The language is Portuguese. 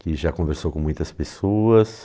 Que já conversou com muitas pessoas.